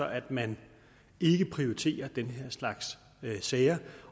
at man ikke prioriterer den her slags sager